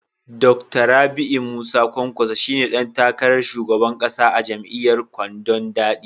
Dakta Rabiu Musa kwankwaso shi ne dan takarar shugaban kasa a jam'iyyar kwandon daɗi.